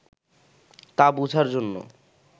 তা বুঝার জন্য